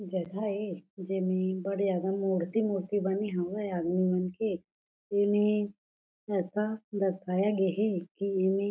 जगह ए जेमे बड़ ज्यादा मूर्ति-मूर्ति बनी हवय आदमी मन के एमे ऐसा दर्शाया गए हे की एमे--